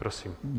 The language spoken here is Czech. Prosím.